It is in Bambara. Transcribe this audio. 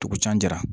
Dugu can jira